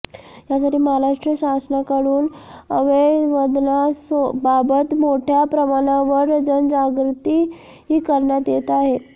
यासाठी महाराष्ट्र शासनाकडून अवयवदानाबाबत मोठ्या प्रमाणावर जनजागृती करण्यात येत आहे